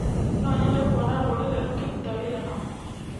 No nyende kuona rũrĩrĩ rũkĩruta wĩra hamwe